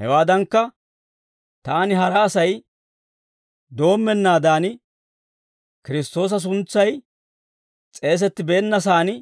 Hawaadankka, taani hara Asay doommeeddawaa bollan doommennaadan, Kiristtoosa suntsay s'eesettibeennasan